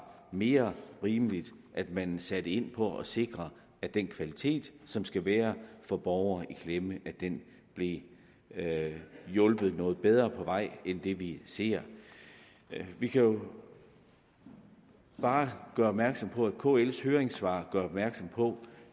mere rimeligt at man satte ind på at sikre at den kvalitet som skal være for borgere i klemme blev hjulpet noget bedre på vej end det vi ser vi kan bare gøre opmærksom på at kl’s høringssvar gør opmærksom på